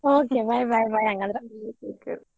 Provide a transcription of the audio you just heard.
Okay bye bye bye ಹಂಗಂದ್ರ.